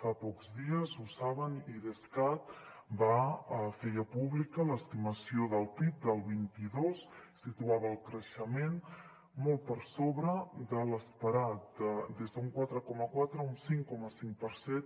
fa pocs dies ho saben idescat feia pública l’estimació del pib del vint dos situava el creixement molt per sobre de l’esperat des d’un quatre coma quatre a un cinc coma cinc per cent